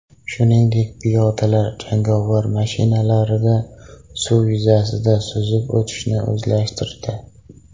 Shuningdek, piyodalar jangovar mashinalarida suv yuzasida suzib o‘tishni o‘zlashtirdi.